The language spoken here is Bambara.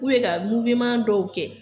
K'u ye ka dɔw kɛ